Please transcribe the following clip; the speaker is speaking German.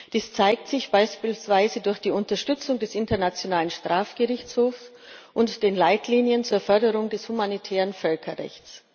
Dies zeigt sich beispielsweise durch die Unterstützung des Internationalen Strafgerichtshofs und die Leitlinien zur Förderung des humanitären Völkerrechts.